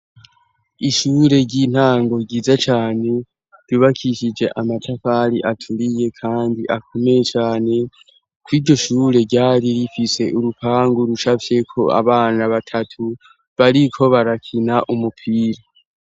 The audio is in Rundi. Ishure ry'intango giza cane rubakishije amatafari aturiye kandi akomeye cane, kuiryo shure ryari rifise urupangu rushafye ko abana batatu bariko barakina umupira.